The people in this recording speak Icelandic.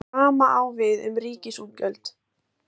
Hið sama á við um ríkisútgjöld.